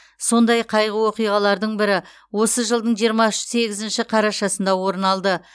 сондай қайғы оқиғалардың бірі осы жылдың жиырма сегізінші қарашасында орын алды